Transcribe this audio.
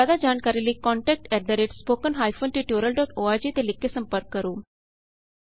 ਜਿਆਦਾ ਜਾਣਕਾਰੀ ਲਈ contact at spoken hyphen tutorial dot org ਤੇ ਲਿਖ ਕੇ ਸੰਪਰਕ ਕਰੋ